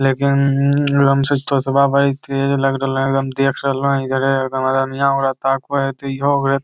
लेकिन लंब से चोंचबा बड़ी टेड लग रहले हेय एकदम देख रहले हेय इधरे --